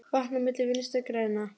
Vatn á myllu Vinstri grænna?